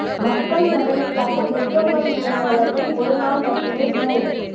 மக்கள் நலனுக்காக petrol bunk உரிமையாளர்கள் ஒரு நாள் மட்டுமே ஸ்டிரைக்